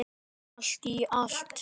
Allt í allt.